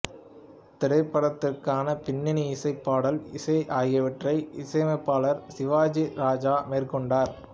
திரைப்படத்திற்கான பின்னணி இசை பாடல் இசை ஆகியவற்றை இசையமைப்பாளர் சிவாஜி ராஜா மேற்கொண்டார்